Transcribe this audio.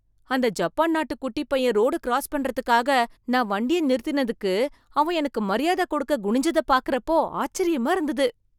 அந்த ஜப்பான் நாட்டு குட்டிப் பையன் ரோடு கிராஸ் பண்ணுறதுக்காக நான் வண்டியை நிறுத்தினதுக்கு அவன் எனக்கு மரியாதை கொடுக்க குனிஞ்சதை பார்க்கறப்போ ஆச்சரியமா இருந்தது